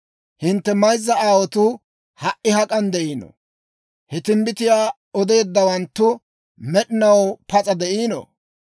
Hintte mayzza aawotuu ha"i hak'an de'iino? He timbbitiyaa odeeddawanttu med'inaw pas'a de'iino?